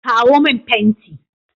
Kawo min fenti!